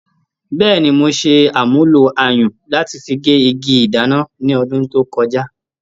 Bẹ́ẹ̀ni, mo ṣe àmúlò ayùn láti fi gé igi ìdáná ní ọdún tó kọjá.